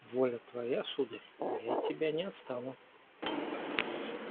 воля твоя сударь и я от тебя не отстану